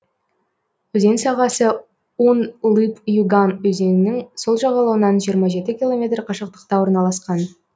өзен сағасы ун лып юган өзенінің сол жағалауынан жиырма жеті километр қашықтықта орналасқан